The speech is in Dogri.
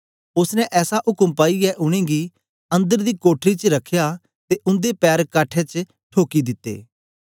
ओसने ऐसा उक्म पाईयै उनेंगी अन्दर दी कोठरी च रखया ते उन्दे पैर काठे च ठोकी दिते